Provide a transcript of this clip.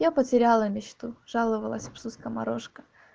я потеряла мечту жаловалась псу скоморошка